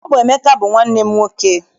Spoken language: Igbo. Ọ bụ Emeka bụ nwanne m nwoke.